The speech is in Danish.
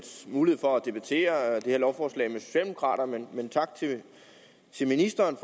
mulighed for at debattere det her lovforslag med socialdemokraterne men tak til ministeren